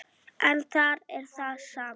En þar er það sama.